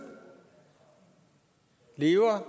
lever